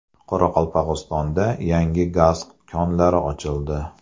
Qoraqalpog‘istonda yangi gaz konlari ochildi.